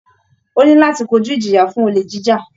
Ó ní láti kojú ìjìyà fún olè jíjà